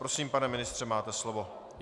Prosím, pane ministře, máte slovo.